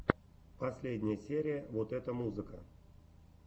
последняя серия вот это музыка